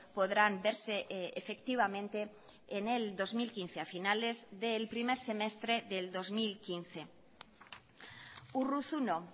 podrán verse efectivamente en el dos mil quince a finales del primer semestre del dos mil quince urruzuno